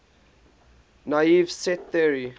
naive set theory